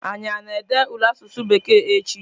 Anyi a na-ede ule asụsụ bekee echi?